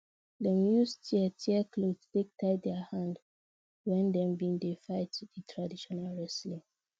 dem use tear trear clothe take tie their hand when dem been dey fight di traditional wrestling